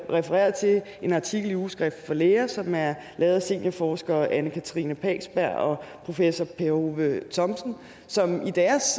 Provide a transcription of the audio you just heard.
refereret til en artikel i ugeskrift for læger som er lavet af seniorforsker anne katrine pagsberg og professor per hove thomsen som i deres